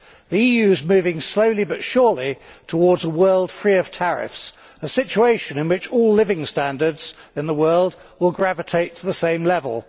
The EU is moving slowly but surely towards a world free of tariffs, a situation in which all living standards in the world will gravitate to the same level.